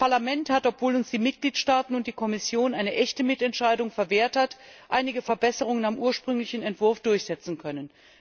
Das Parlament hat, obwohl uns die Mitgliedstaaten und die Kommission eine echte Mitentscheidung verwehrt haben, einige Verbesserungen am ursprünglichen Entwurf durchsetzen können.